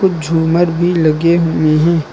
झूमर भी लगे हुए हैं।